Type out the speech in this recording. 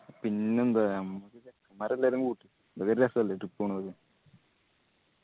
പിന്നെന്താ നമ്മക്ക് അത് ഒരു രസല്ലേ trip പോണത്.